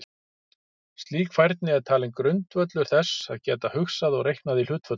Slík færni er talin grundvöllur þess að geta hugsað og reiknað í hlutföllum.